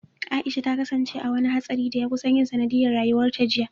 Aisha ta kasance a wani hatsarin da ya kusan yin sanadiyyar rayuwarta jiya.